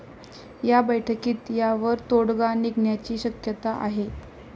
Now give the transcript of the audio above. या बैठकीत यावर तोडगा निघण्याची शक्यता आहे.